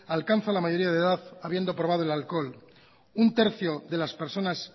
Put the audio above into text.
alcanza la mayoría de edad habiendo probado el alcohol un tercio de las personas